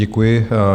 Děkuji.